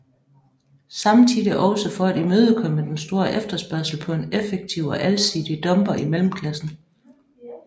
Samtidig også for at imødekomme den store efterspørgsel på en effektiv og alsidig dumper i mellemklassen